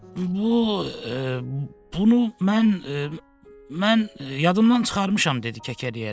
bu, bunu mən, mən yadımdan çıxarmışam dedi kəkələyərək.